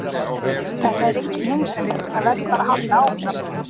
Þetta er enginn heimsendir, það verður bara að halda áfram.